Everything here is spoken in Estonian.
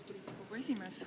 Lugupeetud esimees!